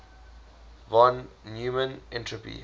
von neumann entropy